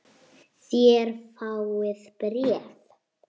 Þér fáið bréf!